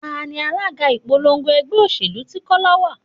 Tani alága ìpolongo ẹgbẹ́ òṣèlú tí Kọ́lá wá?